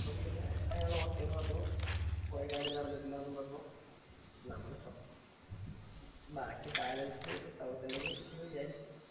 അപ്പം പിന്നെ അയാള് okay ന്നു പറഞ്ഞു പോയെ കാര്യം നടന്നിട്ടില്ല ന്നും പറഞ്ഞു നമ്മൾ അപ്പം ബാക്കി balance thousand എങ്കിലും കിട്ടും ന്നു വിചാരിച്ചു